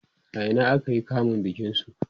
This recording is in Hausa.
a Ina aka yi kamun bikin su?